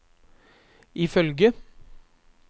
ifølge